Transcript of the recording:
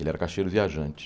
Ele era cacheiro viajante.